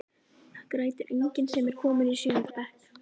Það grætur enginn sem er kominn í sjöunda bekk.